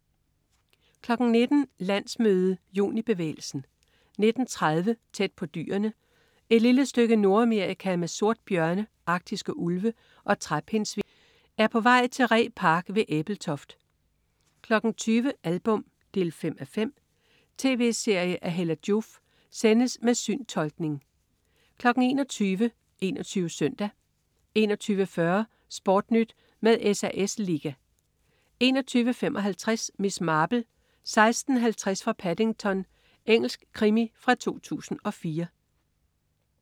19.00 Landsmøde, Junibevægelsen 19.30 Tæt på dyrene. Et lille stykke Nordamerika med sortbjørne, arktiske ulve og træpindsvin er på vej til Ree Park ved Ebeltoft 20.00 Album 5:5. Tv-serie af Hella Joof. Sendes med syntolkning 21.00 21 Søndag 21.40 SportNyt med SAS Liga 21.55 Miss Marple: 16:50 fra Paddington. Engelsk krimi fra 2004